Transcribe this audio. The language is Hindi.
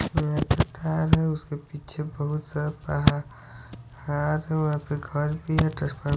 है उसके पीछे बहोत सारा पहा वहां पे घर भी है --